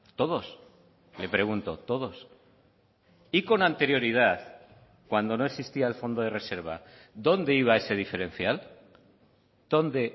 todos me pregunto todos y con anterioridad cuando no existía el fondo de reserva dónde iba ese diferencial dónde